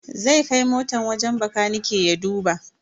Zai kai motan wajen bakanike ya duba.